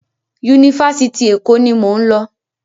Yunifásitì Èkó ni mò ń lọ.